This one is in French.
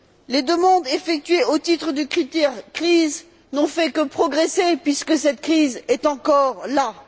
Les demandes effectuées au titre du critère crise n'ont fait que progresser puisque cette crise est encore là.